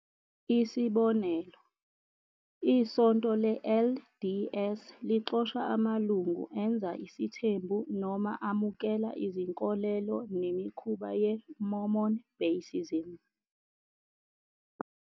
Isibonelo, iSonto le-LDS lixosha amalungu enza isithembu noma amukela izinkolelo nemikhuba ye-Mormon basicism.